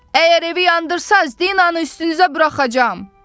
Əgər evi yandırsaz, Dinanı üstünüzə buraxacağam.